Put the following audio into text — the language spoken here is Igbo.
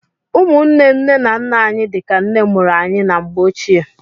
Ụmụnne nne na nna anyị dịka nne mụrụ anyị na mgbe ochie.